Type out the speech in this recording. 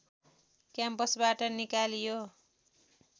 क्याम्पसबाट निकालियो